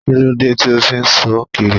Kíló dé tí o fí ṣọ kiri?